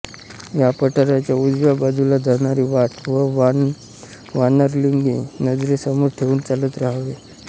या पठाराच्या उजव्या बाजूला जाणारी वाट व वानरलिंगी नजरेसमोर ठेऊन चालत रहावे